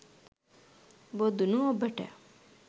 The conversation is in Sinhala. බොදුනු ඔබට